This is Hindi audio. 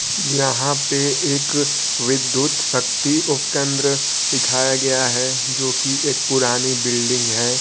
यहां पे एक विद्युत शक्ति उप केंद्र दिखाया गया है जो कि एक पुरानी बिल्डिंग है।